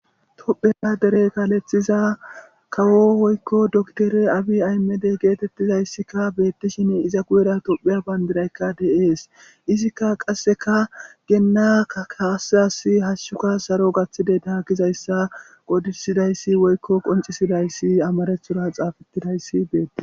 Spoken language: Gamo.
tophe adere kaalethiza kawo woykko doktere abi aymedey geetettizayssikka beettishin iza guyera topheya bayndiraykka deees izikka qasseka geenna kaasias hashshuka saro gaththide daa gizayssa qodisidayssi woykko qoncisidayssi amarethora xaafettidayssi beetti